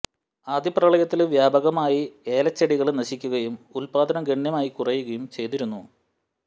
ആദ്യ പ്രളയത്തില് വ്യാപകമായി ഏലച്ചെടികള് നശിക്കുകയും ഉത്പാദനം ഗണ്യമായി കുറയുകയും ചെയ്തിരുന്നു